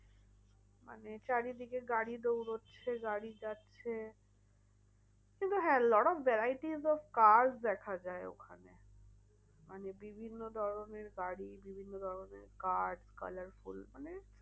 মানে চারি দিকে গাড়ি দৌঁড়াচ্ছে গাড়ি যাচ্ছে কিন্তু হ্যাঁ lot of variety cars দেখা যায় ওখানে। মানে বিভিন্ন ধরণের গাড়ি বিভিন্ন ধরণের cars colorful মানে